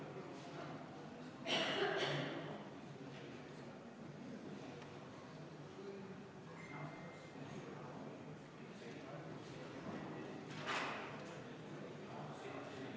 Riigikogu liikmetel ei ole rohkem läbirääkimiste soovi, peaministril ka ei ole.